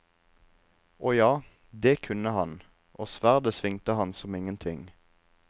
Å ja, det kunne han, og sverdet svingte han som ingenting.